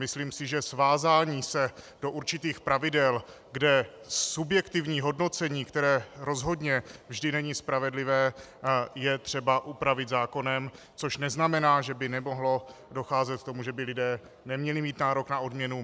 Myslím si, že svázání se do určitých pravidel, kde subjektivní hodnocení, které rozhodně není vždy spravedlivé, je třeba upravit zákonem, což neznamená, že by nemohlo docházet k tomu, že by lidé neměli mít nárok na odměnu.